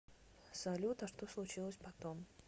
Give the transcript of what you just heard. салют а что случилось потом